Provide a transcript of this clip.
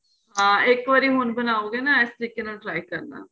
ਹਾਂ ਇੱਕ ਵਾਰੀ ਹੁਣ ਬਣਾਉਗੇ ਨਾ ਇਸ ਤਰੀਕ਼ੇ ਨਾਲ try ਕਰਨਾ